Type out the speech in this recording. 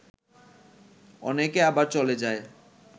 অনেকে আবার চলে যায়